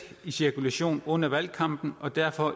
i cirkulation under valgkampen og derfor